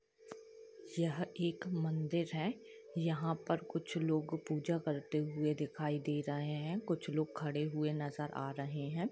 यहाँ एक मंदिर है यहाँ पर कुछ लोग पूजा करते हुए दिखाई दे रहे है कुुछ लोग खड़े हुए नज़र आ रहे है।